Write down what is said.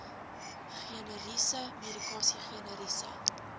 generiese medikasie generiese